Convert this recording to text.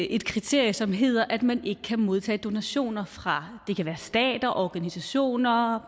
et kriterie som hedder at man ikke kan modtage donationer fra stater organisationer